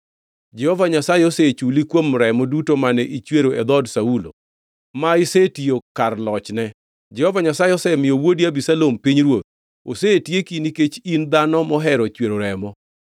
Jehova Nyasaye osechuli kuom remo duto mane ichwero e dhood Saulo, ma isetiyo kar lochne. Jehova Nyasaye osemiyo wuodi Abisalom pinyruoth. Osetieki nikech in dhano mohero chwero remo.”